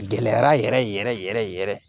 Gɛlɛyara yɛrɛ yɛrɛ yɛrɛ yɛrɛ yɛrɛ